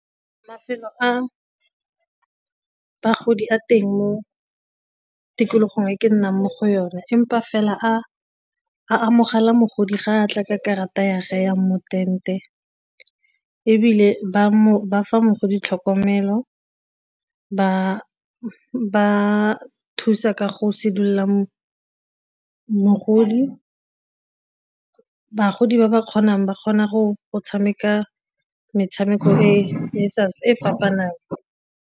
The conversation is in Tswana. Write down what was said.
Mafelo a bagodi a teng mo tikologong e ke nnang mo go yone empa fela a a amogela mogodi ga a tla ka karata ya ge yang mo ebile ba fa mogodi tlhokomelo ba thusa ka go sedila mogodi, bagodi ba ba kgonang ba kgona go tshameka metshameko e fapanang.